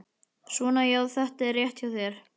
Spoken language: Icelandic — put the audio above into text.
Svona já, þetta er rétt hjá þér.